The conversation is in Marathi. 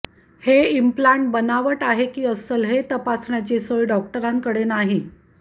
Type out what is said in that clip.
हे इम्प्लाण्ट बनावट आहे की अस्सल हे तपासण्याची सोय डॉक्टरांकडे नाही